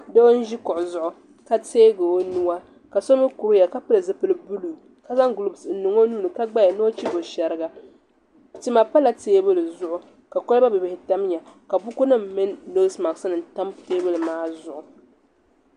Doo n ʒi kuɣu zuɣu ka teegi o nuwa ka so mi kuri ya ka pili zipiligu buluu ka zaŋ gulopsi n niŋ o nuu ni ka gbaya ni o chibo shɛriga tima pala teebuli zuɣu ka koliba bihibihi tamya ka bukunim mini nosi masknim tam teebuli maa zuɣu.